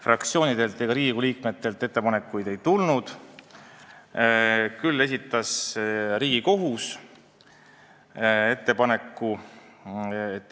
Fraktsioonidelt ega Riigikogu liikmetelt ettepanekuid ei tulnud, küll esitas Riigikohus ettepaneku.